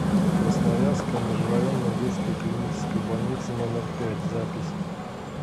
красноярская межрайонная детская клиническая больница номер пять запись